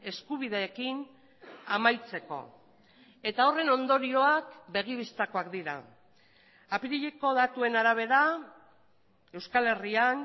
eskubideekin amaitzeko eta horren ondorioak begi bistakoak dira apirileko datuen arabera euskal herrian